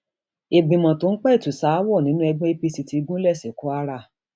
ìgbìmọ tó ń pẹtù ṣaáwọ nínú ẹgbẹ apc ti gúnlẹ sí kwara